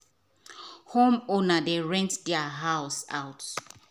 home owner dey rent there house out so them go um fit get money wen them doh retire